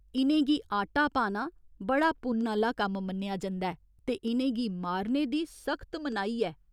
इ'नें गी आटा पाना बड़ा पुन्न आह्‌ला कम्म मन्नेआ जंदा ऐ ते इ'नें गी मारने दी सख्त मनाही ऐ।